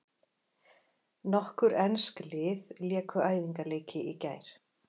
Nokkur ensk lið léku æfingaleiki í gær.